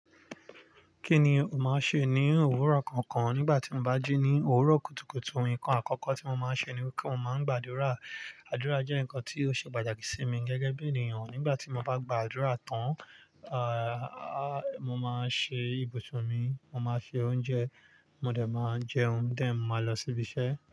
Kí ni ò máa ṣe ní òwúrọ̀ kookan nígbà tí o bá jí ní òwúrọ̀ kùtùkùtù? Ǹkan àkọ́kọ́ tí mo máa ń ṣe ni mo máa n gbàdúrà. Àdúrà jẹ́ nǹkan tí ó ṣe pàtàkì sí mi gẹ́gẹ́ bí ènìyàn. Nígbà tí mo bá gba àdúrà tán, ààh, mo máa ṣe ibùsùn mi, mo máa se oúnjẹ, mo dẹ̀ máa jẹun, dẹ̀ mó máa lọ síbi iṣẹ́.